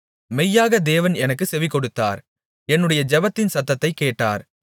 மெய்யாக தேவன் எனக்குச் செவிகொடுத்தார் என்னுடைய ஜெபத்தின் சத்தத்தைக் கேட்டார்